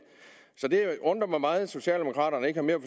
så det undrer mig meget at socialdemokraterne ikke har mere